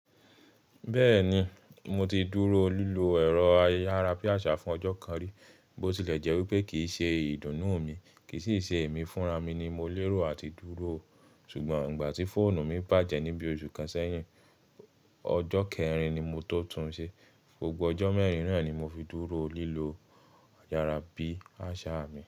Bẹ́ẹ̀ni, mo ti dúró lílo ẹ̀rọ ayárabíàṣá fún ọjọ́ kan rí, bó tilẹ̀ jẹ́ wípé kìí ṣe ìdùnnú mi, kì í sì ṣe èmi fúnra mi ni mo lérò àti dúró. Ṣùgbọ́n ìgbà tí fóònù mi bàjẹ́ níbi oṣù kan sẹ́yìn, ọjọ́ kẹrin ni mo to tún un ṣe, gbogbo ọjọ́ mẹ́rin náà ni mo fi dúró lílò ayárabíàṣá mi.